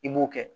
I b'o kɛ